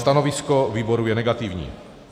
Stanovisko výboru je negativní.